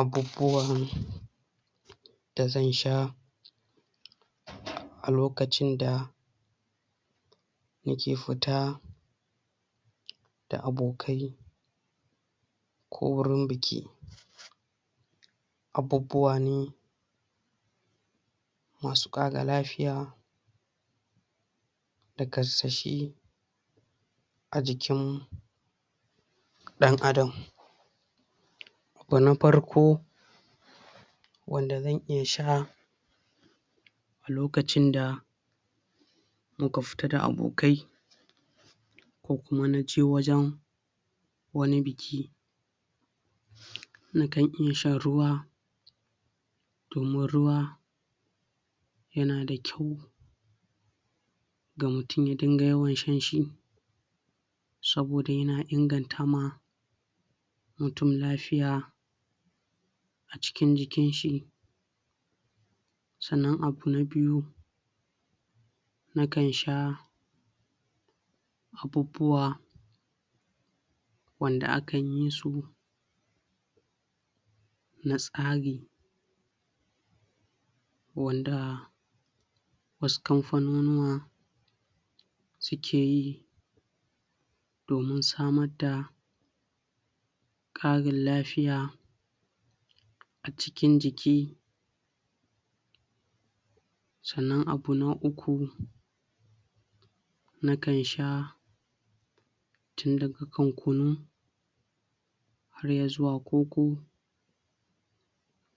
Abubuwan da zan sha a lokacin da yake futa da abokai ko wurin biki abbubuwa ne masu kara lafiya da kashashe a jikin dan adam wa na farko wanda zan iya sha lokacin da muka fita da abokai ko kuma na je wajen wani biki nakan iya shan ruwa domin ruwa yana da kyau ga mutum ya dinga yawan shan shi saboda yana inganta ma mutum lafiya a cikin jikin shi sannan abu na biyu nakan sha abubuwa wanda akan yi su na tsari wanda wasu kamfanonuwa suke yi domin samar da karin lafiya a cikin jiki sannan abu na uku na kan sha [inaudible segment] kunu har ya zuwa koko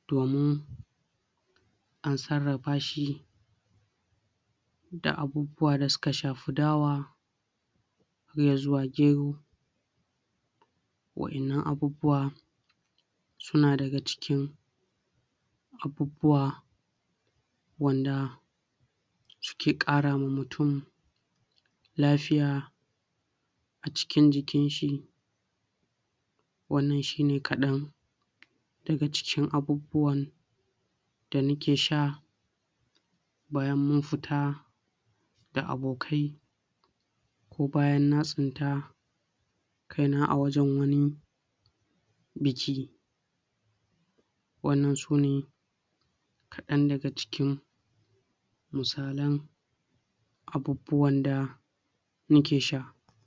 domin an tsarrafa shi da abubuwa da suka shafi dawa iya zuwa gero waddanan abubuwa suna daga cikin abubuwa wanda suke kara wa mutum lafiya a cikin jikin shi wannan shi ne kadan daga cikin abubuwan da nake sha bayan mun fita da abokai ko bayan na tsinta kai na a wajen wani biki. wannan sune kadan daga cikin misalai abubuwan da